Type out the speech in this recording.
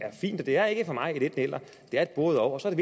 er fint det er ikke for mig et enten eller det er et både og og så er